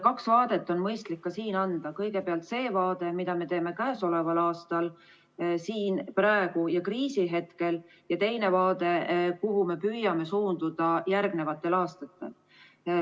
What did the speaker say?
Kaks vaadet on mõistlik ka siin anda: kõigepealt see vaade, mida me teeme käesoleval aastal siin ja praegu kriisihetkel, ning teine vaade, kuhu me püüame suunduda järgnevatel aastatel.